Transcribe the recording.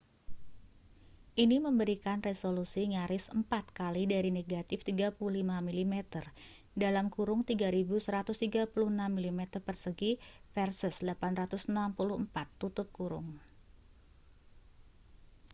ini memberikan resolusi nyaris empat kali dari negatif 35 mm 3136 mm2 versus 864